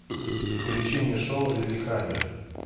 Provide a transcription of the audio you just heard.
включи мне шоу лиллехаммер